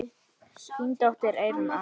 Þín dóttir, Eyrún Anna.